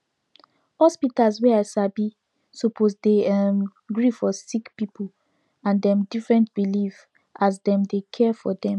hospitas wey i sabi suppos dey erm gree for sicki pipu and dem differnt belief as dem dey care for dem